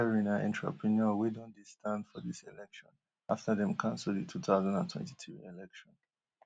thierry na entrepreneur wey don dey stand for dis election afta dem cancel di two thousand and twenty-three election